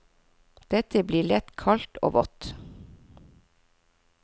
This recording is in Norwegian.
Det blir lett kaldt og vått.